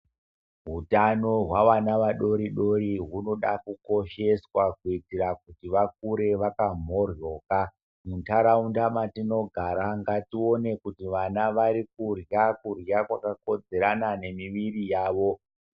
Utano hwavana vadori dori hunoda kukosheswa kuitira kuti vakure vakamoryoka muntaraunda mwatinogara ngatione kuti vana vari kurya kurya kwakakodzerana nemiviri yawo.